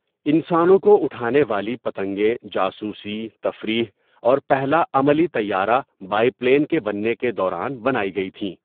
انسانوں کو اٹھانے والی پتنگیں جاسوسی، تفریح اور پہلا عملی طَیارَہ، بائپلین، کے بننے کے دوران بنائی گئی تھیں۔